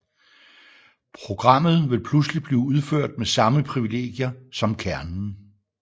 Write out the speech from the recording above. Programmet vil pludselig blive udført med samme privilegier som kernen